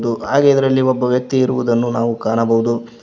ಮತ್ತು ಹಾಗೆ ಇದರಲ್ಲಿ ಒಬ್ಬ ವ್ಯಕ್ತಿ ಇರುವುದನ್ನು ನಾವು ಕಾಣಬಹುದು.